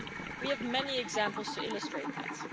We have many examples to illustrate that.